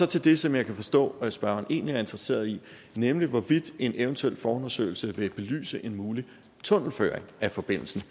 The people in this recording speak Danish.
til det som jeg kan forstå at spørgeren egentlig er interesseret i nemlig hvorvidt en eventuel forundersøgelse vil belyse en mulig tunnelføring af forbindelsen